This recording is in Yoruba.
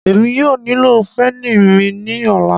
Emi yóò nilo peni mi ni ọla